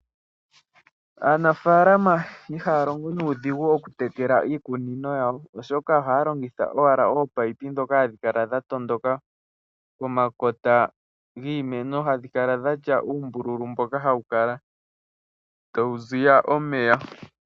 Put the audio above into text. Aanafaalama ihaya longo nuudhigu oku tekela iikunino yawo oshoka ohaya longitha owala oopipe dhoka hadhikala dha tondoka pomakota giimeno hadhi kala dhatya uumbululu tawu ziya omeya.